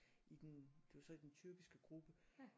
I den det var så i den tyrkisk gruppe